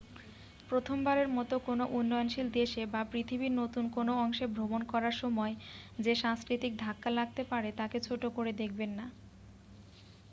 প্রথমবারের মত কোন উন্নয়নশীল দেশে বা পৃথিবীর নতুন কোন অংশে ভ্রমণ করার সময় যে সাংস্কৃতিক ধাক্কা লাগতে পারে তাকে ছোট করে দেখবেন না